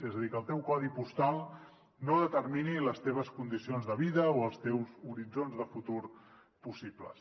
és a dir que el teu codi postal no determini les teves condicions de vida o els teus horitzons de futur possibles